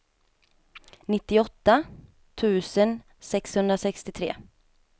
nittioåtta tusen sexhundrasextiotre